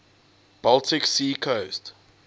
baltic sea coast